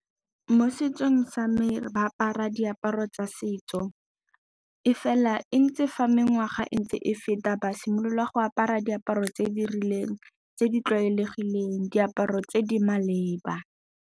Mo setsong sa me, ba apara diaparo tsa setso, mme fela e ntse fa mengwaga e ntse e feta, ba simolola go apara diaparo tse di rileng tse di tlwaelegileng, diaparo tse di maleba.